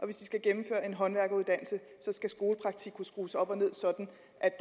hvis de skal gennemføre en håndværkeruddannelse skal skolepraktik kunne skrues op og ned sådan